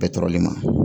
Bɛɛ tɔɔrɔlen ma